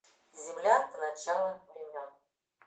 земля до начала времен